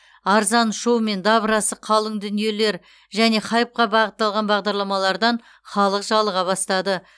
арзан шоу мен дабырасы қалың дүниелер және хайпқа бағытталған бағдарламалардан халық жалыға бастады